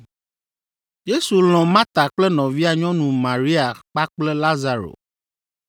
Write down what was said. Yesu lɔ̃ Marta kple nɔvia nyɔnu Maria kpakple Lazaro,